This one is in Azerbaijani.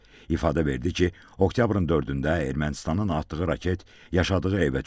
İfadə verdi ki, oktyabrın 4-də Ermənistanın atdığı raket yaşadığı evə düşüb.